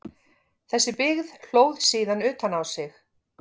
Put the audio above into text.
Þessi byggð hlóð síðan utan á sig.